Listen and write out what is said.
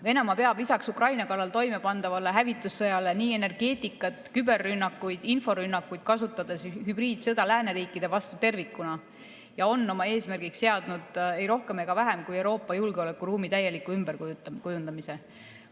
Venemaa peab lisaks Ukraina kallal toimepandavale hävitussõjale nii energeetikat, küberrünnakuid kui ka inforünnakuid kasutades hübriidsõda lääneriikide vastu tervikuna ja on oma eesmärgiks seadnud ei rohkem ega vähem kui Euroopa julgeolekuruumi täieliku ümberkujundamise.